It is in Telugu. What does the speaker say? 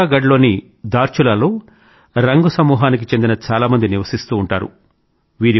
పిథౌరాగఢ్ లోని ధార్చులాలో రంగ్ సమూహానికి చెందిన చాలామంది నివసిస్తూ ఉంటారు